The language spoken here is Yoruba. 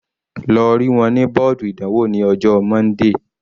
Lọ rí wọn ní bọ́ọ̀dù ìdánwò ní ọjọ́ Monday.